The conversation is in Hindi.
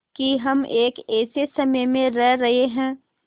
कि हम एक ऐसे समय में रह रहे हैं